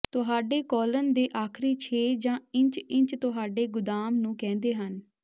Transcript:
ਤੁਹਾਡੇ ਕੌਲਨ ਦੇ ਆਖਰੀ ਛੇ ਜਾਂ ਇੰਚ ਇੰਚ ਤੁਹਾਡੇ ਗੁਦਾਮ ਨੂੰ ਕਹਿੰਦੇ ਹਨ